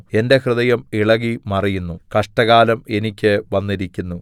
എന്റെ ഹൃദയം ഇളകി മറിയുന്നു കഷ്ടകാലം എനിയ്ക്ക് വന്നിരിക്കുന്നു